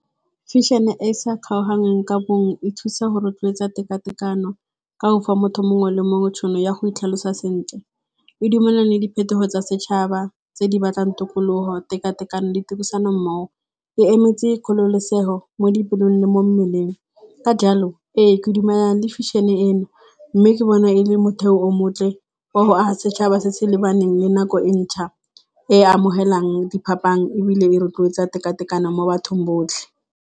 Fashion-e e sa ka bongwe e thusa go rotloetsa tekatekano, ka go fa motho mongwe le mongwe tšhono ya go itlhalosa sentle. E dumelane le diphetogo tsa setšhaba tse di batlang tokologo, tekatekano di tirisano mmogo. E emetse kgololosego mo dipelong le mo mmeleng. Ka jalo, ke dumelana le fashion-e eno. Mme ke bona e le motheo o montle wa go aga setšhaba se se lebaneng le nako e ntšha e amogelang diphapang ebile e rotloetsa tekatekano mo bathong botlhe.